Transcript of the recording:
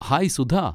Hi Sudha!